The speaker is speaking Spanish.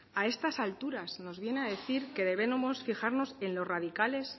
a estas alturas nos viene a decir que debemos fijarnos en los radicales